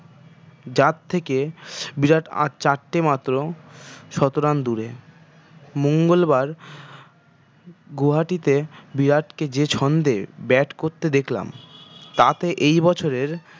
যার থেকে বিরাট আর চারটে মাত্র শত run দুরে মঙ্গলবার গোহাটিতে বিরাটকে যে ছন্দে bat করতে দেখলাম তাতে এই বছরের